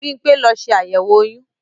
Bímpé lọ ṣe àyẹ̀wò oyún